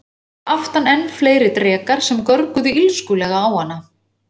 Og fyrir aftan enn fleiri drekar sem görguðu illskulega á hana.